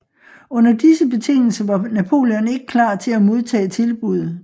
Under disse betingelser var Napoleon ikke klar til at modtage tilbuddet